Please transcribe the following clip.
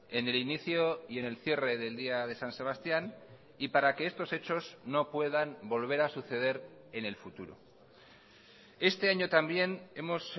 en el inicio y en el cierre del día de san sebastián y para que estos hechos no puedan volver a suceder en el futuro este año también hemos